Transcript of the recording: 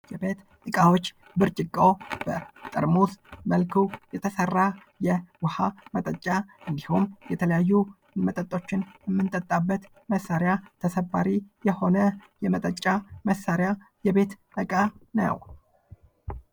የቤት ዕቃዎች ብርጭቆ በጠርሙስ መልኩ የተሰራ የውሃ መጠጫ እንዲሁም የተለያዩ መጠጦችን እምጠጣበት መሳሪያ ተሰባሪ የሆነ የመጠጫ መሳሪያ የቤት ዕቃ ነው።